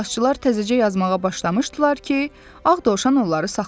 İclasçılar təzəcə yazmağa başlamışdılar ki, Ağ Dovşan onları saxladı.